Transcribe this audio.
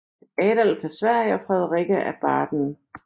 Adolf af Sverige og Frederikke af Baden